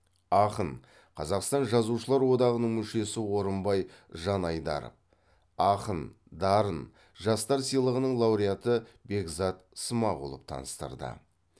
ақын қазақстан жазушылар одағының мүшесі орынбай жанайдаров ақын дарын жастар сыйлығының лауреаты бекзат смағұлов таныстырды